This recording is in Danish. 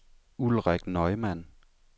Ulrik Neumann